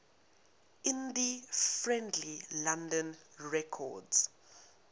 indie friendly london records